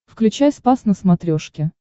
включай спас на смотрешке